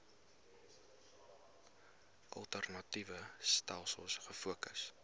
alternatiewe stelsels gefokus